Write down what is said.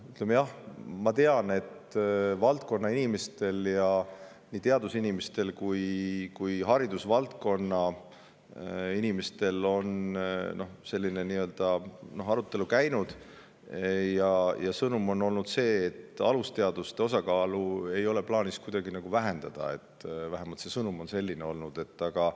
Ütleme, jah, ma tean, et valdkonna inimestel, nii teadus- kui ka haridusvaldkonna inimestel on selline arutelu käinud ja alusteaduste osakaalu ei ole plaanis kuidagi vähendada, vähemalt sõnum on olnud selline.